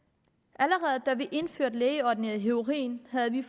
allerede da vi indførte lægeordineret heroin havde vi